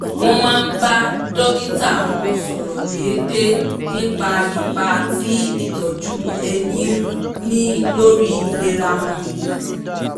wọ́n máa ń bá dókítà wọn sọ̀rọ̀ déédéé nípa ipa tí ìtọ́jú ẹni ń ní lórí ìlera wọn